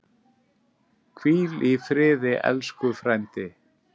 Hvíl í friði, elsku frændi.